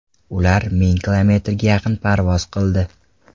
Ular ming kilometrga yaqin parvoz qildi.